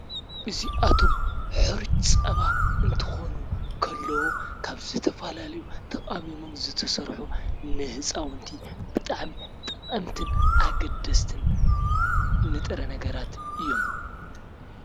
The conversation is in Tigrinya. እዚኣቶም ሕሩጭ ፀባ እንትኾኑ ከለዉ ካብ ዝተፈላለዩ ተቃሚሞም ዝተሰርሑ ንህፃዉንቲ ብጣዕሚ ጠቀምትን ኣገደስትን ንጥረ ነገራት እዮም ።